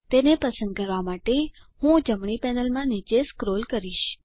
તેને પસંદ કરવા માટે હું જમણી પેનલમાં નીચે સ્ક્રોલ કરીશ